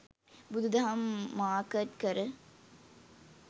බුදු දහම මාර්කට් කර